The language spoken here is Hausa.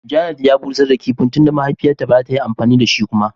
"Janet " ya bushar da kipin tunda mahaifiyan ta ba za ta yi amfani da shi kuma.